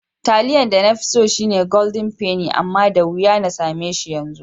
Taliyan da nafi so shine Golden penny amma da wuya na sameshi yanzu.